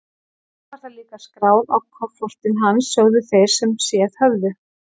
Svo var það líka skráð á kofortin hans, sögðu þeir sem séð höfðu.